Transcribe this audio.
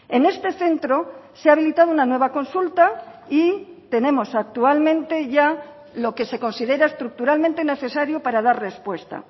en este centro se ha habilitado una nueva consulta y tenemos actualmente ya lo que se considera estructuralmente necesario para dar respuesta